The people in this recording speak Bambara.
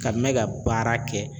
Ka mɛn ka baara kɛ